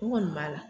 N kɔni b'a la